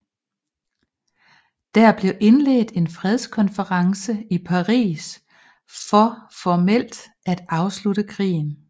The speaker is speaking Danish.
Der blev indledt en fredskonference i Paris for formelt at afslutte krigen